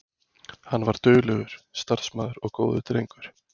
Hann var duglegur, starfsamur og góður drengur.